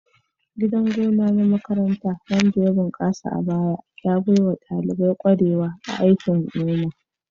Gidan gona na makaranta wanda ya bunkasa a baya, ya baiwa ɗalibai kwarewa a aikin noma.